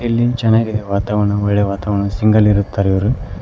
ಇಲ್ಲಿ ಚೆನ್ನಾಗಿದೆ ವಾತಾವರಣ ಒಳ್ಳೆಯ ವಾತಾವರಣ ಸಿಂಗಲ್ ಇರುತ್ತಾರೆ ಇವರು.